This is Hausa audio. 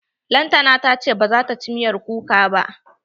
Lantana ta ce bazata ci miyar kuka ba.